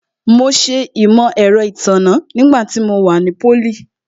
Mo ṣe Imọ-ẹrọ itanna nígbà tí mo wà ní pólì